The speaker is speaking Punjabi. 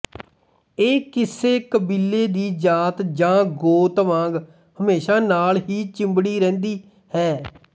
ਇਹ ਕਿਸੇ ਕਬੀਲੇ ਦੀ ਜਾਤ ਜਾਂ ਗੋਤ ਵਾਂਗ ਹਮੇਸ਼ਾ ਨਾਲ ਹੀ ਚਿੰਬੜੀ ਰਹਿੰਦੀ ਹੈ